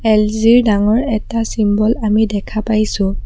LG ৰ ডাঙৰ এটা চিম্বল আমি দেখা পাইছোঁ।